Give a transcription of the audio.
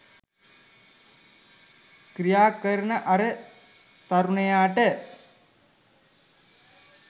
ක්‍රියාකරන අර තරුණයාට